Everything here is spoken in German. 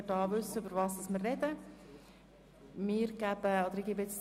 Nur, damit wir wissen, worüber wir sprechen.